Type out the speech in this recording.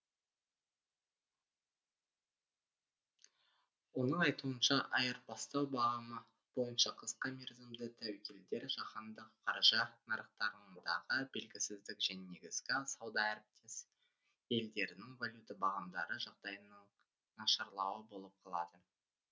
оның айтуынша айырбастау бағамы бойынша қысқа мерзімді тәуекелдер жаһандық қаржы нарықтарындағы белгісіздік және негізгі сауда әріптес елдерінің валюта бағамдары жағдайының нашарлауы болып қалады